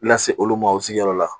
Lase olu ma u sigiyɔrɔ la